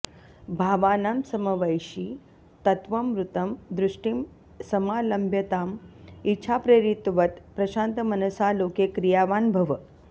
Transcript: भावानां समवैषि तत्त्वममृतं दृष्टिं समालम्ब्य तां इच्छाप्रेरितवत् प्रशान्तमनसा लोके क्रियावान् भव